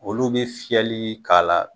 Olu bi fiyɛli k'a la